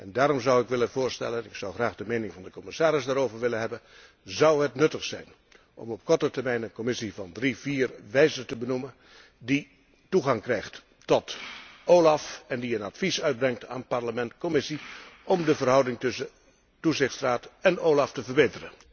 Daarom zou ik het volgende willen voorstellen en ik zou graag de mening van de commissaris daarover willen hebben zou het nuttig zijn om op korte termijn een commissie van drie, vier wijzen te benoemen die toegang krijgt tot OLAF en die een advies uitbrengt aan Parlement Commissie om de verhouding tussen het Comité van toezicht en OLAF te verbeteren?